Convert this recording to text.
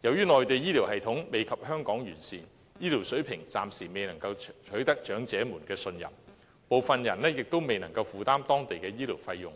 由於內地醫療系統未及香港完善，醫療水平暫時未能取得長者的信任，部分人亦都未能負擔當地的醫療費用，